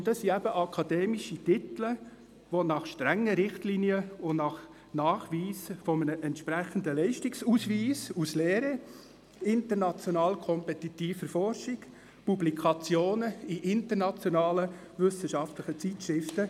Damit man diese akademischen Titel erhalt, müssen strenge Richtlinien eingehalten werden, verbunden mit entsprechenden Leistungsnachweisen aus der Lehre, international kompetitiver Forschung und Publikationen in internationalen wissenschaftlichen Zeitschriften.